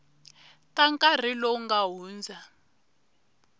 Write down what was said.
ta nkarhi lowu nga hundza